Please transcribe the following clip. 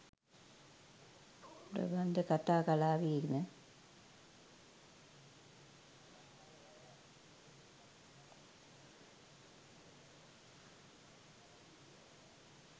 ප්‍රබන්ධ කතා කලාවේ එන